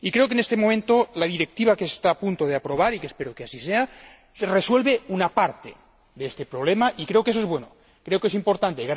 Y creo que, en este momento, la Directiva que está a punto de aprobarse —espero que así sea— resuelve una parte de ese problema. Y creo que eso es bueno, creo que es importante.